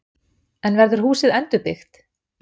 En verður húsið endurbyggt?